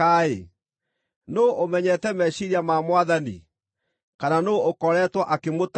“Nũũ ũmenyete meciiria ma Mwathani? Kana nũũ ũkoretwo akĩmũtaara?”